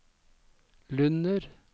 Lunner